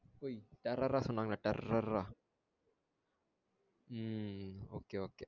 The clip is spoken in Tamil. பொய் terror ஆ சொன்னாங்களா terror ஆ உம் okay okay